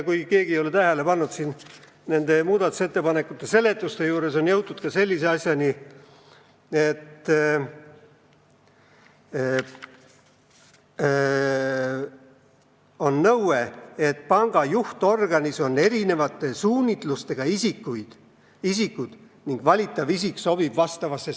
Kui keegi ei ole tähele pannud, siis muudatusettepanekuid seletades on jõutud ka nõudeni, et panga juhtorganis on erineva suunitlusega isikud ning valitav isik peab struktuuri sobima.